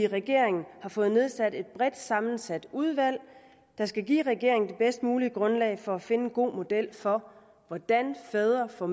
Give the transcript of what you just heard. regeringen har fået nedsat et bredt sammensat udvalg der skal give regeringen det bedst mulige grundlag for at finde en god model for hvordan fædre får